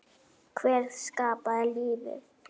Hver skapaði lífið?